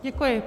Děkuji.